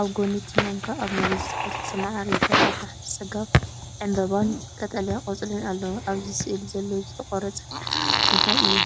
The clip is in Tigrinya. ኣብ ጎኒ እቲ ማንካን ኣብ መሬት ዝፈሰሰ መዓር ይርአ። ኣብ ታሕቲ ጸጋም ዕምባባን ቀጠልያ ቆጽልን ኣለዉ። ኣብዚ ስእሊ ዘለዉ ዝተቖርጹ ነገራት እንታይ እዮም?